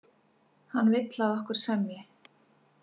Hann vill, að okkur semji.